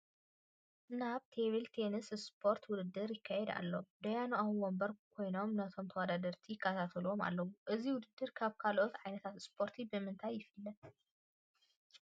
ናይ ቴብል ቴንስ ስፖርት ውድድር ይካየድ ኣሎ፡፡ ዳያኑ ኣብ ወንበሮም ኮይኖም ነቶም ተወዳደርቲ ይከታተልዎም ኣለዉ፡፡ እዚ ውድድር ካብ ካልእ ዓይነት ስፖርቲ ብምንታይ ይፍለ?